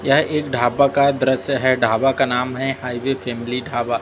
यह एक ढाबा का दृश्य है ढाबा का नाम है हाईवे फैमिली ढाबा।